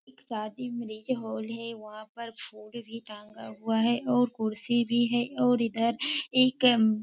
एक शादी marriage hall है वहां पर बोर्ड भी टंगा हुआ है और कुर्सी भी है और इधर एक --